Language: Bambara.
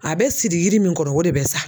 A bɛ siri yiri min kɔnɔ o de bɛ sa.